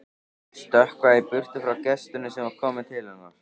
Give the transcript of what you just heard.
Stökkva í burtu frá gestinum sem var kominn til hennar.